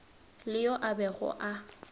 le yo a bego a